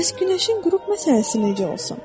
Bəs günəşin qürub məsələsi necə olsun?